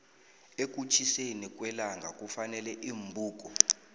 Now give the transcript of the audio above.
ekutjhiseni kwellangakufuneka iimbuko